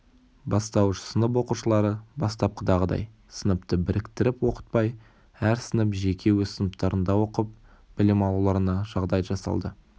бастауыш сынып оқушылары бастапқыдағыдай сыныпты біріктіріп оқытпай әр сынып жеке өз сыныптарында оқып білім алуларына жағдай жасалды